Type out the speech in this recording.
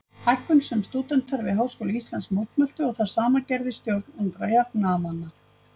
Hækkun sem stúdentar við Háskóla Íslands mótmæltu og það sama gerði stjórn Ungra jafnaðarmanna.